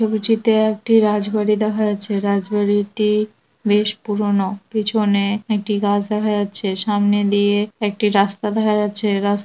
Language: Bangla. ছবিটিতে একটি রাজবাড়ি দেখা যাচ্ছে রাজ বাড়িটি বেশ পুরনো পিছনে একটি গাছ দেখা যাচ্ছে সামনে দিয়ে একটি রাস্তা দেখা যাচ্ছে। রাস্ত --